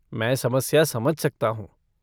मैं समस्या समझ सकता हूँ।